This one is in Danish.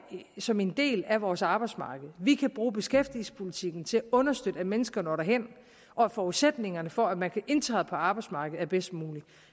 som en del af vores arbejdsmarked vi kan bruge beskæftigelsespolitikken til at understøtte at mennesker når derhen og at forudsætningerne for at man kan indtræde på arbejdsmarkedet er bedst mulige